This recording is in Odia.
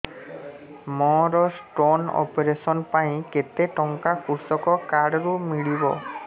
ମୋର ସ୍ଟୋନ୍ ଅପେରସନ ପାଇଁ କେତେ ଟଙ୍କା କୃଷକ କାର୍ଡ ରୁ ମିଳିବ